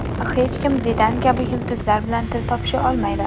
Hech kim Zidan kabi yulduzlar bilan til topisha olmaydi.